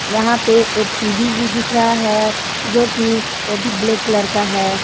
यहां पे एक टी_वी भी दिख रहा है जो कि वो भी ब्लैक कलर का है।